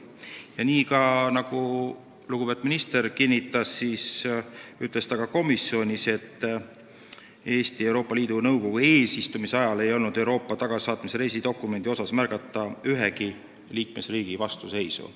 Ja nii nagu lugupeetud minister siin kinnitas, ütles ta ka komisjonis, et Eesti Euroopa Liidu Nõukogu eesistumise ajal ei olnud märgata ühegi liikmesriigi vastuseisu Euroopa tagasisaatmise reisidokumendile.